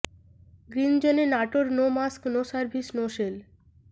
green জোনে Natore no mask no service no sell